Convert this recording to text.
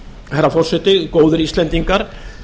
herra forseti góðir íslendingar